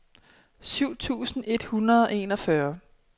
syv tusind et hundrede og enogfyrre